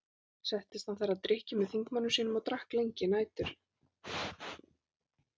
Settist hann þar að drykkju með þingmönnum sínum og drakk lengi nætur.